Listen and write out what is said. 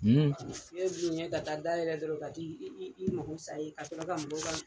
ka taa dayɛlɛ dɔrɔn ka t'i i mako sa yen ka sɔrɔ ka mɔgɔw ka